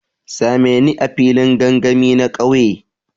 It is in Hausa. Sa me ni a filin gangami na kauye.